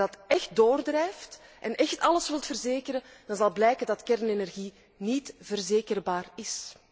Als je dat echt doorvoert en echt alles wilt verzekeren, dan zal blijken dat kernenergie niet verzekerbaar is.